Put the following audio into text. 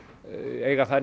eiga þær